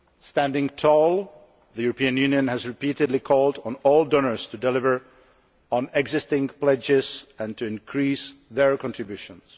Standing tall, the European Union has repeatedly called on all donors to deliver on existing pledges and to increase their contributions.